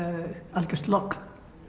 algjört logn